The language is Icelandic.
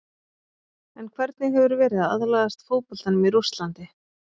En hvernig hefur verið að aðlagast fótboltanum í Rússlandi?